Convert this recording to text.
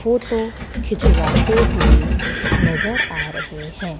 Photo खिंचवाते हुए नजर आ रहे हैं।